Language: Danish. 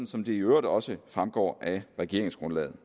som det i øvrigt også fremgår af regeringsgrundlaget